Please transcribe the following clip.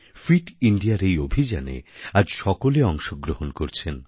fit Indiaর এই অভিযানে আজ সকলে অংশগ্রহণ করছেন